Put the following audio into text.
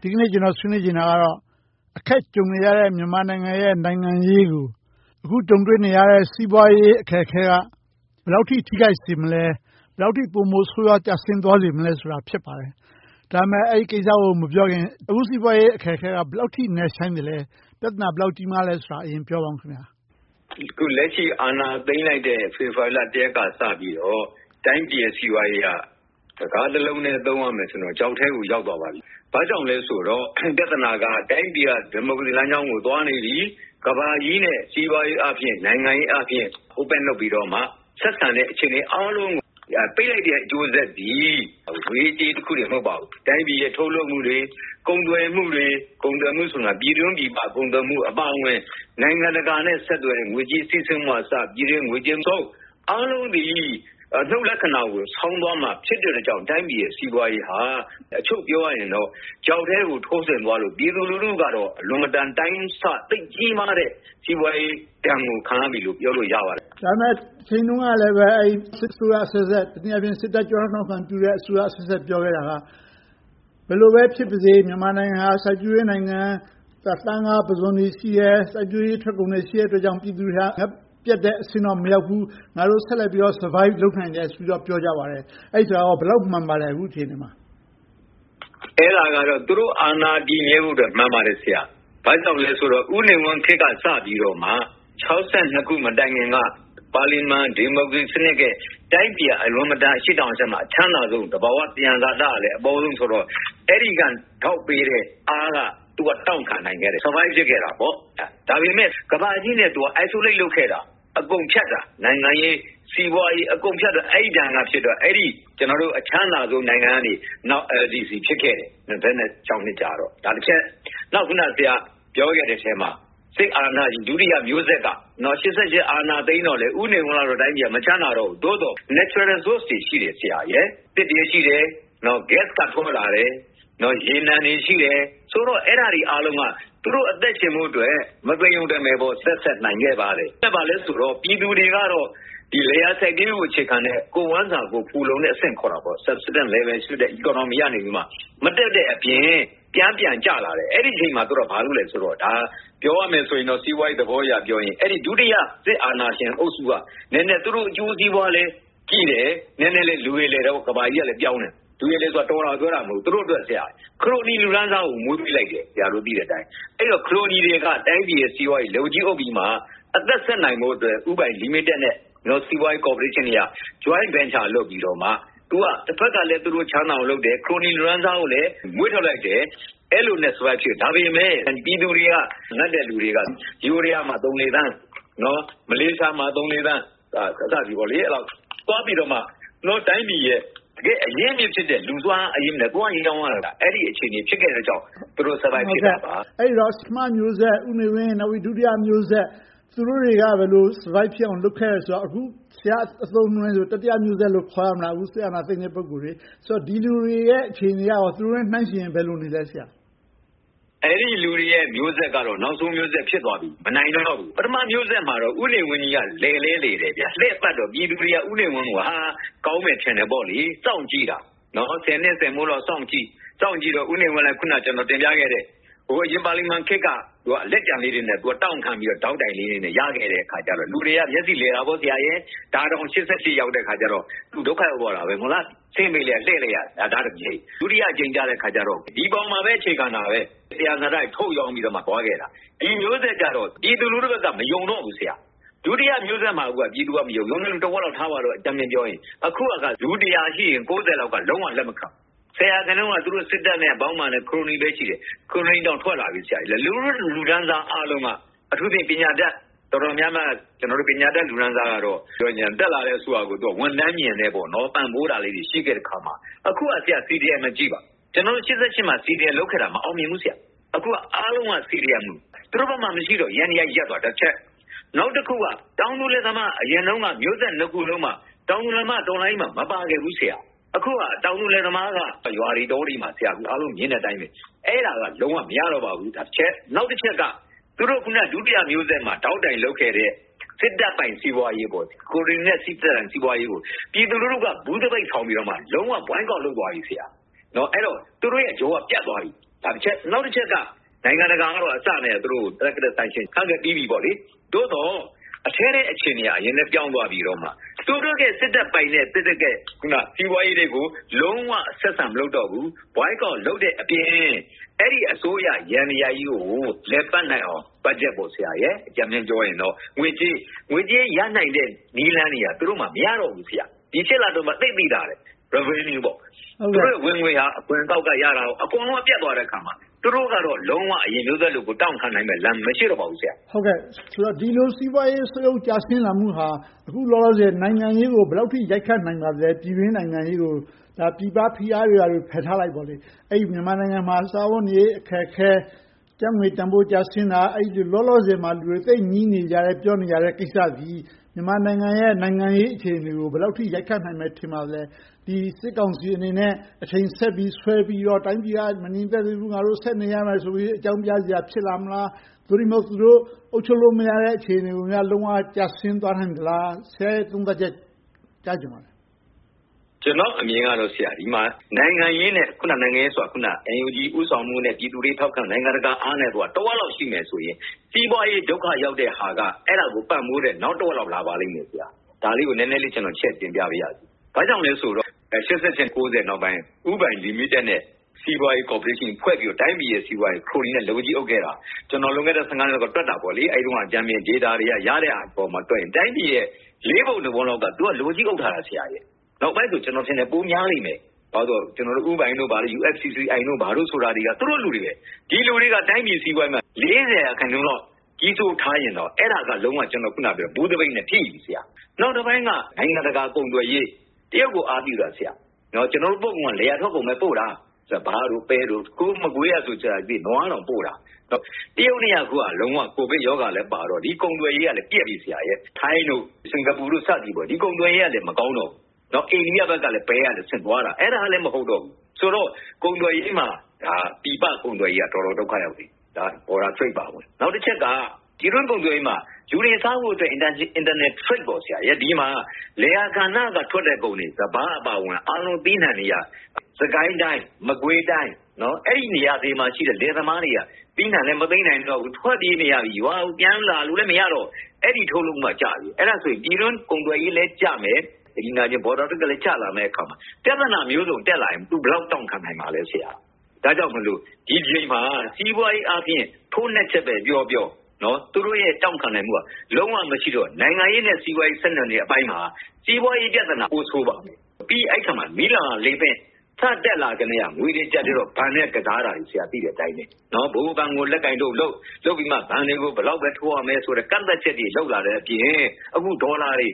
ဒီနေ့ ကျနော်ဆွေးနွေးချင်တာကတော့ အခက်ကြုံနေရတဲ့ မြန်မာနိုင်ငံရဲ့ နိုင်ငံရေးကို အခုကြုံတွေ့နေရတဲ့ စီးပွားရေးအခက်အခဲက ဘယ်လောက်အထိ ထိခိုက်စေမလဲ။ ဘယ်လောက်အထိ ပိုမိုဆိုးဝါးစေမလဲဆိုတာ ဖြစ်ပါတယ်။ ဒီကိစ္စကို မပြောခင်၊ အခုစီးပွားရေးအခက်အခဲက ဘယ်လောက်အထိ နက်ရှိုင်းသလဲ။ ပြဿနာ ဘယ်လောက်အထိ ကြီးမားသလဲဆိုတာကို ပြောပြပါ။ အခုလက်ရှိ အာဏာသိမ်းလိုက်တဲ့ ဖေဖေါ်ဝါရီလ ရက်နေ့ကစပြီးတော့ တိုင်းပြည်ရဲ့ စီးပွားရေးက စကားတစ်လုံးတည်းနဲ့ ပြောရမယ်ဆိုရင်တော့ ချောက်ထဲကို ရောက်သွားပါပြီ။ ဘာကြောင့်လဲဆိုတော့ ပြဿနာက တိုင်းပြည်က ဒီမိုကရေစီလမ်းကြောင်းကို သွားနေပြီ။ ကမ္ဘာကြီးရဲ့ စီးပွားရေးအားဖြင့်၊ နိုင်ငံရေးအားဖြင့် Open လုပ်ပြီးတော့မှ ဆက်ဆံနေတဲ့ အခြေအနေအားလုံးကို ပိတ်လိုက်တဲ့ အကျိုးဆက်သည် ငွေရေးကြေးရေးတစ်ခုတည်း မဟုတ်ပါဘူး။ တိုင်းပြည်ရဲ့ ထုတ်လုပ်မှုတွေ ကုန်သွယ်မှုတွေ။ ကုန်သွယ်မှုဆိုတာ ပြည်တွင်း-ပြည်ပ ကုန်သွယ်မှုအပါအဝင် နိုင်ငံတကာနဲ့ ဆက်သွယ်တဲ့ ငွေကြေးစီးဆင်းမှုကအစ ပြည်တွင်းဝင်ငွေသုံး အားလုံးသည် အနုတ်လက္ခဏာကို ဆောင်သွားမှာ ဖြစ်တဲ့အတွက်ကြောင့် တိုင်းပြည်ရဲ့ စီးပွားရေးက အချုပ်ပြောရရင် ချောက်ထဲကို ထိုးဆင်းသွားတဲ့အတွက် ပြည်သူလူထုကတော့ အလွန်တရာ အတိုင်းအဆ သိပ်ကြီးမားတဲ့ စီးပွားရေးဒဏ်ကို ခံရပြီလို့ ပြောလို့ရပါတယ်။ ဒါပေမဲ့လဲ တချိန်တုန်းကလည်း စစ်အစိုးရအဆက်ဆက် တနည်းအားဖြင့် စစ်တပ်ကျောထောက်နောက်ခံပြုတဲ့ အစိုးရအဆက်ဆက် ပြောခဲ့တာက ဘယ်လိုပဲဖြစ်ပါစေ မြန်မာနိုင်ငံက စိုက်ပျိုးရေးနိုင်ငံ၊ သားငါးပုဇွန်တွေ ရှိတယ်။ စိုက်ပျိုးရေးထွက်ကုန်တွေ ရှိတယ်အတွက်ကြောင့် ပြည်သူတွေက ငတ်ပြတ်တဲ့အဆင့်တော့ မရောက်ဘူး။ ငါတို့ ဆက်လက်ပြီးတော့ survive သက်ရှင်နိုင်တယ်လို့ ပြောကြပါတယ်။ အဲဒီစကားကော ဘယ်လောက်မှန်ပါသလဲ။ အခုအချိန်မှာ။ အဲဒါကတော့ သူတို့အာဏာ တည်မြဲဖို့အတွက် မှန်ပါတယ် ဆရာ။ ဘာကြောင့်လဲဆိုတော့ ဦးနေဝင်းခေတ်က စပြီးတော့မှ ၆၂ ခုနှစ် မတိုင်မီက ပါလီမန်ဒီမိုကရေစီခေတ်ရဲ့ တိုင်းပြည်က အလွန်မတန် အရှေ့တောင်အာရှမှာ အချမ်းသာဆုံး။ သဘာဝသံယံဇာတ အပေါဆုံးဆိုတော့ အဲဒီကထောက်ပေးခဲ့တဲ့အားနဲ့ သူက တောင့်ခံနိုင်ခဲ့တယ်။ သက်ရှင် survive ဖြစ်ခဲ့တယ်။ ဒါပေမဲ့ ကမ္ဘာကြီးနဲ့ သူက အထီးကျန် isolate လုပ်ခဲ့။ အကုန်ဖြတ်ခဲ့တာ နိုင်ငံရေး၊ စီးပွားရေး၊ အကုန်ဖြတ်ခဲ့တော့ အဲဒီဒဏ်က အချမ်းသာဆုံးကနေ နောက်ဆုံး LDC အဆင်းရဲနိုင်ငံ ဖြစ်ခဲ့တယ်။ နောက် ဆရာပြောခဲ့တဲ့အထဲမှာ စစ်အာဏာရှင် ဒုတိယမျိုးဆက်က ၈၈ အာဏာသိမ်းတော့လဲ ဦးနေဝင်းရဲ့ တိုင်းပြည်က မချမ်းသာတော့ဘူး။ သို့သော် သဘာဝသံယံဇာတတွေ ရှိသေးတယ်။ သစ်တွေ၊ ဂတ်စ်တွေ၊ ရေနံတွေ ရှိတယ်ဆိုတော့ အဲဒါတွေအားလုံးက သူတို့အသက်ရှင်ဖို့အတွက် မသေရုံတမယ် သက်ဆက်နိုင်ခဲ့ပါတယ်။ အဲဒါဘာလဲဆိုတော့ ပြည်သူတွေကတော့ လယ်ယာစိုက်ပျိုးရေးကို အခြေခံတဲ့ ကိုယ့်ဝမ်းစာကိုယ် ဖူလုံတဲ့အဆင့်ကနေ မတက်တဲ့အပြင်၊ ပြန်ကျကျလာတယ်။ အဲဒီအချိန်မှာ သူတို့က ဘာလုပ်သလဲဆိုတော့ - ပြောရမယ်ဆိုရင်တော့ စီးပွားရေးသဘောအရပြောရင် အဲဒီဒုတိယ စစ်အာဏာရှင်အုပ်စုက သူတို့အကျိုးစီးပွားလည်းကြည့်တယ်၊ နည်းနည်းလည်း လူရယ်လည်တာပေါ့ - ကမ္ဘာကြီးက ပြောင်းလာတယ်ဆိုတော့။ လူရည်လည်တယ်ဆိုတာ တော်တယ်လို့ပြောတာ မဟုတ်ဘူး။ သူတို့က ခရိုနီလူတန်းစားကို မွေးပေးလိုက်တယ်။ အဲဒီတော့ ခရိုနီတွေက တိုင်းပြည်ရဲ့ စီးပွားရေးကို လက်ဝါးကြီးအုပ်ပြီးမှ အသက်ဆက်နိုင်ဖို့အတွက် ဦးပိုင်လီမီတက်နဲ့ စီးပွားရေးကော်ပိုရှင်းတွေက joint venture လုပ်ပြီးတော့မှ တဘက်ကလဲ သူတို့ချမ်းသာအောင်လုပ်တယ်။ ခရိုနီလူတန်းစားကိုလည်း မွေးထုတ်လိုက်တယ်။ အဲဒီလိုလုပ်ခဲ့ပေမယ့် ပြည်သူတွေက ငတ်တဲ့လူတွေက ယိုးဒယားမှာ သုံးလေးသန်း၊ မလေးရှားမှာ သုံးလေးသန်း သွားပြီးတော့မှ ကျနော်တို့တိုင်းပြည်ရဲ့ တကယ့်အရင်းအမြစ်ဖြစ်တဲ့ လူူစွမ်းအားအရင်းနဲ့ သွားရောင်းရတဲ့ အခြေအနေဖြစ်ခဲ့တာကြောင့် သူတို့ သက်ရှင်နိုင်ခဲ့တာပါ။ အဲဒီတော့ ပထမမျိုးဆက် ဦးနေဝင်း၊ ဒုတိယမျိုးဆက် သူတို့တွေက ဘယ်လို survive ဖြစ်အောင် လုပ်ခဲ့တယ်ဆိုတော့ အခု ဆရာ့အသုံးအနှုန်းနဲ့ဆိုရင် တတိယမျိုးဆက်လို့ ခေါ်ရမလား အခုစစ်အာဏာသိမ်းတဲ့ ပုဂ္ဂိုလ်တွေကို။ ဆိုတော့ ဒီလူတွေရဲ့ အခြေအနေက သူတို့နဲ့နှိုင်းယှဉ်ရင် ဘယ်လိုရှိလဲ။ အဲဒီလူတွေရဲ့ မျိုးဆက်ကတော့ နောက်ဆုံးမျိုးဆက် ဖြစ်သွားပြီ။ မနိုင်နိုင်တော့ပြီ။ ပထမမျိုးဆက်မှာတော့ ဦးနေဝင်းကြီးက လည်လည်းလည်တယ်။ လှည့်ပတ်တော့ ပြည်သူတွေက ဦးနေဝင်းကြီးကို ကောင်းမယ်လို့ ထင်ခဲ့ကြတယ်။ စောင့်ကြည့်ကြတယ်။ ဆယ်နှစ်ဆယ်မိုးလောက် စောင့်ကြည့်တော့ ဦးနေဝင်းလည်း အခုန ကျနော်တင်ပြခဲ့တဲ့ ဒီမိုကရေစီပါလီမန်ခေတ်က လက်ကျန်လေးတွေနဲ့ တောင့်ခံပြီးတော့ ထောက်တိုင်လေးတွေနဲ့ ရခဲ့ကြတဲ့အခါကြတော့ လူတွေက မျက်စိလည်ခဲ့တယ်။ ဒါတောင် ၈၈ ရောက်တဲ့အခါ သူဒုက္ခရောက်သွားခဲ့တယ်။ ဆင်းပေးခဲ့ လှည့်ပေးခဲ့တယ်။ ဒုတိယအကြိမ်ကြတော့ ဒီအပေါ်မျာပဲ အခြေခံတာပဲ။ သံယံဇာတတွေ ထုတ်ရောင်းပြီးတော့ ရှင်သန်ခဲ့တာ။ ဒီမျိုးဆက်ကြတော့ ပြည်သူလူထုဘက်က မယုံတော့ဘူး။ ဒုတိယမျိုးဆက်မှာတင် ပြည်သူလူထုက မယုံခဲ့တာ။ အခုကတော့ လူတစ်ရာရှိရင် ကိုးဆယ်လောက်က လုံးဝလက်မခံတော့ဘူး။ ဆယ်ရာခိုင်နှုန်းလောက်က စစ်တပ်နဲ့ သူတို့အပေါင်းအပါ ခရိုနီတွေပဲ ရှိတယ်။ ခရိုနီတချို့တော့ ထွက်လာပြီ။ လူထုလူတန်းစားအားလုံးက အထူးသဖြင့် ပညာတတ်တော်တော်များများက - ပညာတတ်လူတန်းစားကတော့ တက်လာတဲ့ အစိုးရကို ဝန်ထမ်းညဉ်နဲ့ ပံ့ပိုးတာလေးတွေ ရှိတယ်အခါမှာ အခုက CDM ကိုကြည့်ပါ။ ၈၈ မှာတုန်းက CDM လုပ်ခဲ့တာ မအောင်မြင်ခဲ့ဘူး။ အခုက အားလုံးက CDM။ သူတို့ဘက်မှာ မရှိတော့လို့ ယန္တရားတွေ ရပ်ကုန်တာတစ်ချက်။ နောက်တစ်ခုက တောင်သူတွေမှာ အရင်တုန်းက မျိုးဆက်နှစ်ခုစလုံးမှာ တောင်သူလယ်သမားက တော်လှန်ရေးမှာ မပါခဲ့ဘူး။ အခုက တောင်သူလယ်သမားက ရွာတွေတောတွေမှာ အားလုံးမြင်တဲ့အတိုင်း အဲဒါက လုံးဝမရတော့ပါဘူး။ အဲဒါကတစ်ချက်။ နောက်တစ်ချက်က သူတို့ ဒုတိယမျိုးဆက်မှာ ထောက်တိုင်လုပ်ခဲ့တဲ့ စစ်တပ်ပိုင်စီးပွားရေး ခရိုနီနဲ့ စစ်တပ်စီးပွားရေးကို ပြည်သူလူထုက ‘ဘူးသပိတ်’ ထောင်ပြီးတော့ လုံးဝကန့်ကွက် boycott လုပ်သွားနေပြီ။ အဲဒီတော့ သူတို့မျိုးဆက်ကြောက ပြတ်သွားပြီ။ နောက်တစ်ချက်က နိုင်ငံတကာကပါ သူတို့တွေကို targeted sanction ချခဲ့ပြီးပြီ။ သို့သော် အထဲထဲအခြေအနေက နည်းနည်းပြောင်းသွားပြီးတော့ သူတို့စစ်တပ်ပိုင်တဲ့ စီးပွားရေးတွေကို လုံးဝဆက်ဆံမလုပ်တော့ဘူး။ သပိတ်မှောက်တဲ့အပြင် လည်ပတ်နိုင်အောင် ဘတ်ဂျက် - အကြမ်းမျဉ်းပြောမယ်ဆိုရင် ငွေကြေးရနိုင်မယ့် နည်းလမ်းတွေက မရတော့ဘူး။ ဒီ လအတွင်းမှာ သိပ်သိသာတယ်။ သူတို့ဝင်ငွေ အခွန်အကောက်ကရတာတွေကော အကုန်ပြတ်သွားတဲ့အါမှာ သူတို့ကတော့ လုံးဝအရင်မျိုးဆက်လို တောင့်ခံနိုင်တဲ့ အခြေအနေ မရှိတော့ပါဘူး။ ဒီလိုစီးပွားရေး ဆုတ်ယုတ်ကျဆင်းလာမှုဟာ အခုလောလောဆယ် နိုင်ငံရေးကို ဘယ်လောက်အထိ နိုင်ငံရေးကို ရိုက်ခတ်လာနိုင်ပါသလဲ။ ပြည်တွင်းနိုင်ငံရေးကို ပြည်ပဖိအားတွေ ဘာတွေဖယ်ထားလိုက်ပေါ့။ မြန်မာနိုင်ငံမှာ စားဝတ်နေရေး အခက်အခဲ။ ကျပ်ငွေတန်းဖိုး ကျဆင်းတာ။ လောလောဆယ်မှာ လူတွေ သိပ်ညည်းတွားနေကြတဲ့ကိစ္စသည် မြန်မာနိုင်ငံရဲ့ နိုင်ငံရေးအခြေအနေကို ဘယ်လောက်အထိ ရိုက်ခတ်နိုင်မယ် ထင်ပါသလဲ။ ဒီစစ်ကောင်စီအနေနဲ့ အချိန်ဆက်ပြီး ဆွဲပြီးတော့ တိုင်းပြည်က မငြိမ်မသက်သေးဘူး၊ ငါတို့ ဆက်နေရမယ်လို့ အကြောင်းပြစရာ ဖြစ်လာမလား။ သို့တည်းမဟုတ် သူတို့ အုပ်ချုပ်လို့မရတော့တဲ့ အခြေအနေကို လုံးဝကျဆင်းသွားနိုင်သလား။ ဆရာရဲ့ သုံးသပ်ချက်ကို ကြားချင်ပါတယ်။ ကျနော့်အမြင်ကတော့ အစောကပြောခဲ့တဲ့ နိုင်ငံရေးအနေနဲ့ NUG ဦးဆောင်မှုနဲ့ ပြည်သူတွေ ထောက်ခံအားနဲ့ နိုင်ငံတကာထောက်ခံမှုနဲ့ တစ်ဝက်လောက် ရှိမယ်ဆိုရင် စီးပွားရေး ဒုက္ခရောက်တဲ့ဟာက အဲဒါကို ပံ့ပိုးတဲ့… လာပါလိမ့်မယ်။ ဒါလေးကို ကျနော် နည်းနည်းလေးချဲ့ပြောပါမယ်။ ဘာကြောင့်လဲဆိုတော့ ၈၈၊ ၉၀ နောက်ပိုင်း ဦးပိုင်လီမီတက်နဲ့ စီးပွားရေးကော်ပိုးရေးရှင်း ဖွဲ့စည်းပြီးတော့ တိုင်းပြည်ရဲ့ စီးပွားရေးကို ခရိုနီတွေက လက်ဝါးကြီးအုပ်ခဲ့တာ ကျနော် လွန်ခဲ့တဲ့ နှစ်လောက်က တွက်တာပေါ့။ အဲဒီတုန်းက ဂျာနယ်ဒေတာတွေက ရခဲ့တဲ့အပေါ်မှာ တွက်ရင် တိုင်းပြည်ရဲ့ လေးပုံတစ်ပုံလောက်ကို သူတို့က လက်ဝါးကြီးအုပ်ထားတာ။ နောက်ပိုင်း ကျနော်ထင်တယ် ပိုများလိမ့်မယ်။ ဘာကြောင့်လဲဆိုတော့ ဦးပိုင်တို့၊ USCCI တို့ဆိုတာ သူတို့လူတွေပဲ။ ဒီလူတွေက တိုင်းပြည်စီးပွားရေးမှာ လေးဆယ်ရာခိုင်နှုန်းလောက် ထားရင်တော့ အဲဒါက ‘ဘူးသပိတ်’ နဲ့ ထိပြီ။ နောက်တစ်ပိုင်းက နိုင်ငံတကာ ကုန်သွယ်ရေး။ တရုတ်ကို အားပြုတာ။ ကျနော်တို့ထွက်ကုန်က လယ်ယာထုတ်ကုန်ကိုပဲ အားပြုတာ။ စပါး၊ ပဲ၊ မကွေးဘက်မှာဆို နွားတောင်ပို့တာ။ တရုတ်နဲ့က အခုက ကိုဗစ်ရောဂါလည်းပါတော့ ကုန်သွယ်ရေးက ပျက်နေတယ်။ ထိုင်း၊ စင်္ကာပူတို့ ဒီကုန်သွယ်ရေးတွေလည်း မကောင်းတော့ဘူး။ အိန္ဒိယဘက်ကလည်း ပဲပို့တာ အဲဒါကလဲ မဟုတ်တော့ဘူးဆိုတော့ ပြည်ပကုန်သွယ်ရေးက တော်တော်ဒုက္ခရောက်နေပြီ။ နယ်စပ်ကုန်သွယ်ရေး အပါဝင်။ နောက်တစ်ချက်က ပြည်တွင်းကုန်သွယ်ရေးမှာ လူတွေစားဖို့အတွက် နိုင်ငံတကာနဲ့ ကုန်သွယ်မှုမှာ လယ်ယာကဏ္ဍကထွက်တဲ့ ကုန်တွေ စပါးအပါအဝင် အသီးအနံှတွေက စစ်ကိုင်းတိုင်း၊ မကွေးတိုင်း၊ အဲဒီနေရာတွေမှာရှိတဲ့ လယ်သမားတွေက သီးနံှလည်း မသိမ်းနိုင်တော့ဘူး။ ထွက်ပြေးနေရပြီ။ ရွာကိုပြန်လာလို့လည်း မရတော့၊ အဲဒီထုတ်လုပ်မှုက ကျနေပြီ။ အဲဒါဆို ပြည်တွင်းကုန်သွယ်ရေးလည်း ကျမယ်။ နယ်စပ်ကုန်သွယ်ရေးလည်း ကျလာမယ့်အခါမှာ ပြဿနာပေါင်းစုံ တက်လာရင် သူ ဘယ်လောက်တောင့်ခံနိုင်မလဲ။ ဒါကြောင့်မို့ ဒီအချိန်မှာ စီးပွားရေးအားဖြင့် ထိုးနှက်ချက်ပဲပြောပြော သူတို့ရဲ့ တောင့်ခံနိုင်မှုက လုံးဝမရှိတော့ နိုင်ငံရေးနဲ့ စီးပွားရေး ဆက်နွှယ်နေမှုအပိုင်းမှာ စီးပွားရေးပြဿနာ ပိုဆိုးသွားမယ်။ ပြီးတော့ အဲဒီနေရာမှာ မီးလောင်းရာလေပင့် စတက်လာကတည်းက ငွေအကျပ်အတည်းနဲ့ ဘဏ်တွေနဲ့ ကစားတာတွေကို သိတဲ့အတိုင်းပဲ၊ ဗဟိုဘဏ်ကို လက်ကိုင်တုတ်လုပ်၊ လုပ်ပြီးမှ ဘဏ်တွေကို ဘယ်လောက်လာဘ်ထိုးရမယ်ဆိုတဲ့ ကန့်သတ်ချက်တွေ လုပ်လာတဲ့အပြင် အခု ဒေါ်လာတွေ